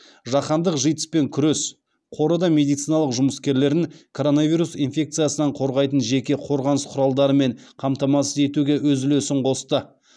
жаһандық житс пен күрес қоры да медицина жұмыскерлерін коронавирус инфекциясынан қорғайтын жеке қорғаныс құралдарымен қамтамасыз етуге өз үлесін қосты